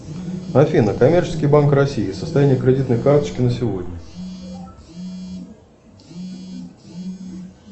афина коммерческий банк россии состояние кредитной карточки на сегодня